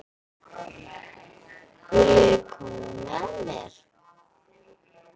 Viljiði koma með mér?